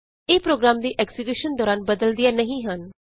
ਇਹ ਪ੍ਰੋਗਰਾਮ ਦੀ ਐਕਜ਼ੀਕਯੂਸ਼ਨ ਦੌਰਾਨ ਬਦਲਦੀਆਂ ਨਹੀਂ ਹਨ